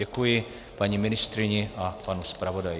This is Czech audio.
Děkuji paní ministryni a panu zpravodaji.